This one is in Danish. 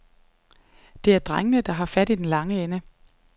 Det er drengene, der har fat i den lange ende.